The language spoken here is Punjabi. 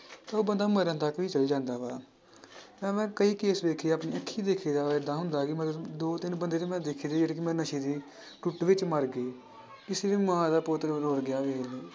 ਉਹ ਬੰਦਾ ਮਰਨ ਤੱਕ ਵੀ ਚਲੇ ਜਾਂਦਾ ਵਾ ਨਾਲੇ ਮੈਂ ਕਈ case ਦੇਖੇ ਆ ਆਪਣੇ ਅੱਖੀ ਦੇਖੀ ਆ, ਏਦਾਂ ਹੁੰਦਾ ਕਿ ਮਤਲਬ ਦੋ ਤਿੰਨ ਬੰਦੇ ਤੇ ਮੈਂ ਦੇਖੇ ਨੇ ਜਿਹੜੇ ਕਿ ਮੈਂ ਨਸ਼ੇ ਦੀ ਟੁੱਟ ਵਿੱਚ ਮਰ ਗਏ ਕਿਸੇ ਦੀ ਮਾਂ ਦਾ ਪੁੱਤ ਰੁੱਲ ਵੇਖ ਲਓ।